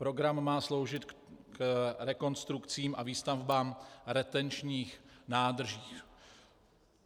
Program má sloužit k rekonstrukcím a výstavbám retenčních nádrží.